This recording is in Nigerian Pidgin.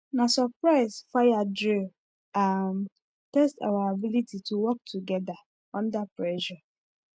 na surprise fire drill um test our ability to work together under pressure